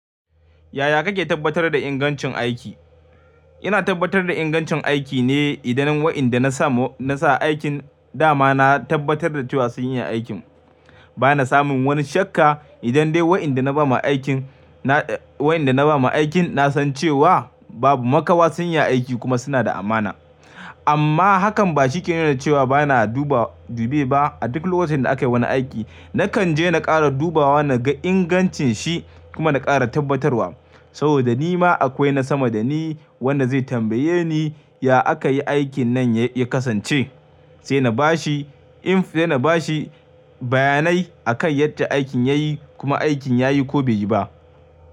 Yaya kake tabbatar da ingancin aiki? Ina tabbatar da ingancin aiki ne idan wa'inda na sa aikin dama na tabbatar da cewa sun iya aikin. Bana samun wani shakka idan dai waɗanda na ba ma aikin, wa'inda na ba ma aikin na san cewa babu makawa sun iya aiki kuma suna da amana. Amma hakan ba shike nuna cewa bana duba dubi ba. A duk lokacin da aka yi wani aiki, nakan je na ƙara dubawa, na ga ingancin shi kuma na ƙara tabbatarwa. Saboda ni ma akwai na sama da ni wanda zai tambaye ni, ya aka yi aikin nan ya kasance? Sai na bashi, sai na bashi bayanai akan yadda aikin ya yi kuma aikin ya yi ko bai yi ba.